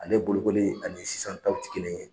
Ale bolokoli ani sisan taw tɛ kelen ye.